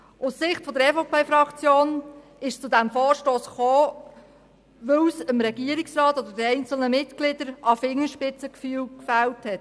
Aus Sicht der EVP-Fraktion kam es zu diesem Vorstoss, weil es dem Regierungsrat oder einzelnen Mitgliedern desselben an Fingerspitzengefühl gefehlt hat.